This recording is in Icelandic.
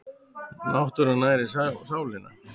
Náttúran nærir sálina